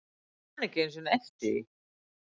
Ég man ekki einu sinni eftir því.